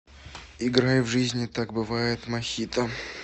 играй в жизни так бывает мохито